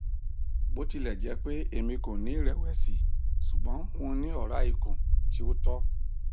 botilẹjẹpe emi ko ni irẹwẹsi ṣugbọn mo ni ọra ikun ti o tọ